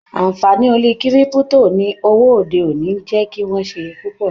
Anfààní orí kírípútò ní òwò òde-òní n jẹ kí wọn ṣe púpọ sí.